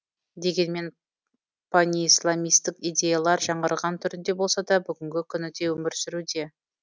дегенмен панисламистік идеялар жаңғырған түрінде болса да бүгінгі күні де өмір сүруде